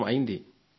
మీకు తెలుసు